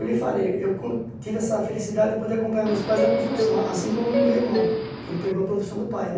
Eu lhe falei, eu hum tive essa felicidade de poder acompanhar meus pais na construção, assim como meu irmão, que ele pegou a profissão do pai, né?